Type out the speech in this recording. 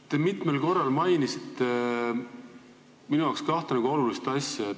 Te mitmel korral mainisite minu arvates kahte olulist asja.